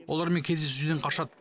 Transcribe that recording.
олармен кездесуден қашады